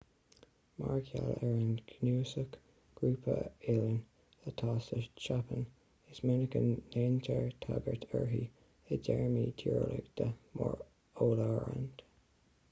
mar gheall ar an gcnuasach/grúpa oileán atá sa tseapáin is minic a ndéantar tagairt uirthi i dtéarmaí tíreolaíocha mar oileánra